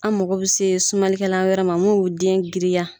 An mago bi se sumalikɛlan wɛrɛ ma n m'o den girinya